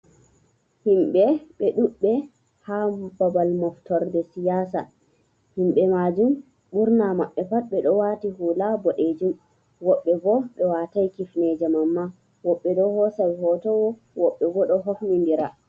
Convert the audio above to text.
Himɓe ɓe ɗudɓe ha babal Moftorde Siyasa. himɓe majum ɓurna mabɓe ɓe ɗo wati hula boɗejum. woɓbe bo ɓe watai Kifneje Mamma, Woɓɓe ɗo hosa hoto woɓɓe bo ɗo hofni ndira.